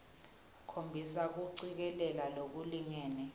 khombisa kucikelela lokulingene